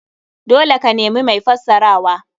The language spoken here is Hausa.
Dole ka nemi mai fassarawa.